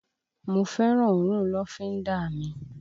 Mo fẹ́ràn òórùn lọ́fíńdà mi